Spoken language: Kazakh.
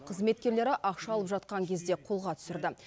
қызметкерлері ақша алып жатқан кезде қолға түсірді